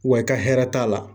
Wa i ka hɛrɛ t'a la